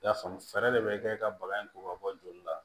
I y'a faamu fɛɛrɛ de bɛ kɛ ka baga in ko ka bɔ joli la